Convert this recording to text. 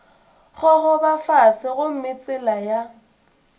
gogoba fase gomme tsela ya